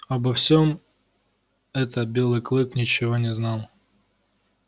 обо всем это белый клык ничего не знал